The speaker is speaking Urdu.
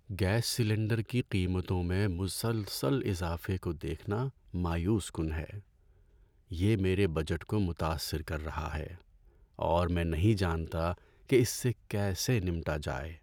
گیس سلنڈر کی قیمتوں میں مسلسل اضافے کو دیکھنا مایوس کن ہے۔ یہ میرے بجٹ کو متاثر کر رہا ہے، اور میں نہیں جانتا کہ اس سے کیسے نمٹا جائے۔